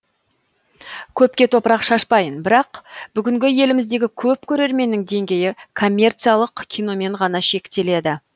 көпке топырақ шашпайын бірақ бүгінгі еліміздегі көп көрерменнің деңгейі коммерциялық киномен ғана шектеледі